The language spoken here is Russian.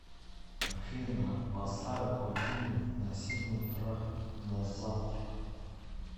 афина поставь будильник на семь утра на завтра